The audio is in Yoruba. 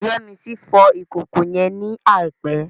Yemisi fọ ìkòkò yẹn ní àìpẹ́